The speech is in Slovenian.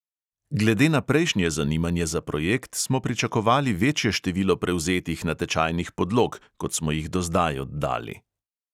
Glede na prejšnje zanimanje za projekt smo pričakovali večje število prevzetih natečajnih podlog, kot smo jih do zdaj oddali.